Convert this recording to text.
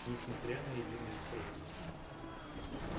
несмотря на единую страну